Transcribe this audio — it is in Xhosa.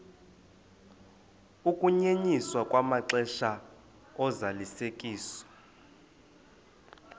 ukunyenyiswa kwamaxesha ozalisekiso